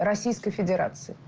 российской федерации